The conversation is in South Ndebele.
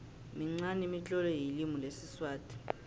minqani imitlolo yelimi lesiswati